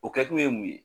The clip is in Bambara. O kɛkun ye mun ye